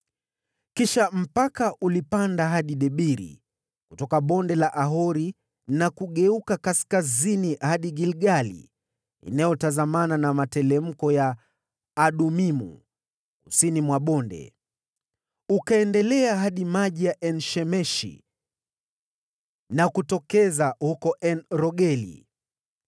Kisha mpaka ulipanda hadi Debiri kutoka Bonde la Akori na kugeuka kaskazini hadi Gilgali inayotazamana na materemko ya Adumimu, kusini mwa bonde. Ukaendelea sambamba hadi maji ya En-Shemeshi na kutokeza huko En-Rogeli.